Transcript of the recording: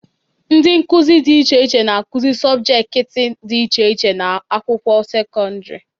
Ndị nkụzị dị iche iche na-akụzị sọbjekiti dị iche iche n'ụlọakwụkwọ sekondịri